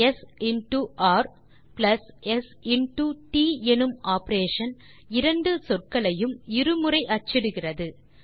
ஸ் இன்டோ ர் பிளஸ் ஸ் இன்டோ ட் எனும் ஆப்பரேஷன் இரண்டு சொற்களையும் இரு முறை அச்சிடும்